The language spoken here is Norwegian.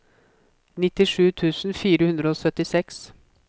nittisju tusen fire hundre og syttiseks